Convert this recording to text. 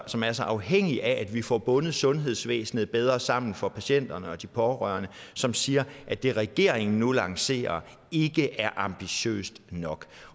som er så afhængige af at vi får bundet sundhedsvæsenet bedre sammen for patienterne og de pårørende som siger at det regeringen nu lancerer ikke er ambitiøst nok